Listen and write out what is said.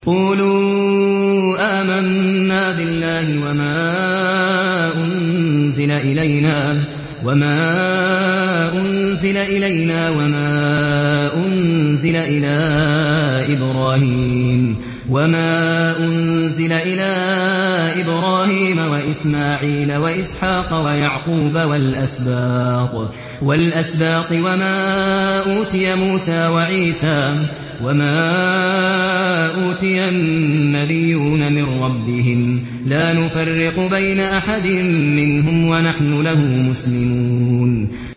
قُولُوا آمَنَّا بِاللَّهِ وَمَا أُنزِلَ إِلَيْنَا وَمَا أُنزِلَ إِلَىٰ إِبْرَاهِيمَ وَإِسْمَاعِيلَ وَإِسْحَاقَ وَيَعْقُوبَ وَالْأَسْبَاطِ وَمَا أُوتِيَ مُوسَىٰ وَعِيسَىٰ وَمَا أُوتِيَ النَّبِيُّونَ مِن رَّبِّهِمْ لَا نُفَرِّقُ بَيْنَ أَحَدٍ مِّنْهُمْ وَنَحْنُ لَهُ مُسْلِمُونَ